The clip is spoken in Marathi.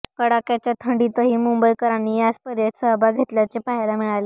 कडाक्याच्या थंडीतही मुंबईकरांनी या स्पर्धेत सहभाग घेतल्याचे पाहायला मिळाले